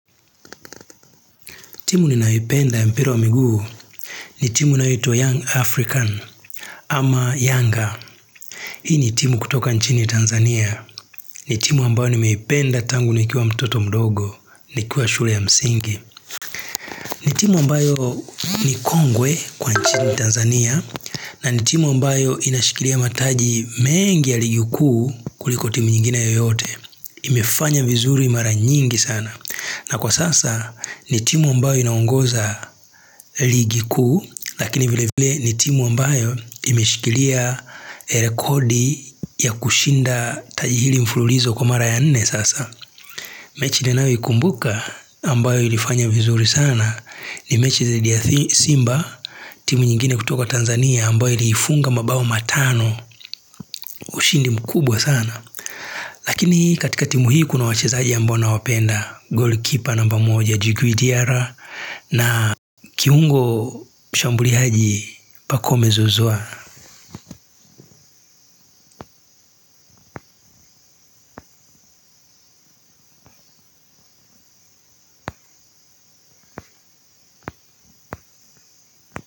Timu ninaipenda ya mpiro wa miguu ni timu naito young African ama younger. Hii ni timu kutoka nchini Tanzania. Ni timu ambayo nimeipenda tangu nikiwa mtoto mdogo, nikiwa shule ya msingi. Ni timu ambayo ni kongwe kwa nchini Tanzania. Na ni timu ambayo inashikilia mataji mengi ya ligiku kuliko timu nyingine yoyote. Imifanya vizuri mara nyingi sana. Na kwa sasa ni timu ambayo inaongoza ligi kuu lakini vile vile ni timu ambayo imeshikilia rekodi ya kushinda tajihili mfululizo kumara ya nene sasa. Mechi denawi kumbuka ambayo ilifanya vizuri sana ni mechi zidi ya simba timu nyingine kutoka Tanzania ambayo ilifunga mabawu matano ushindi mkubwa sana. Lakini katika timu hii kuna wachezaji ya mbona wapenda Goalkeeper namba moja Jigwidiara na kiungo shambuli haji pakome zuzua.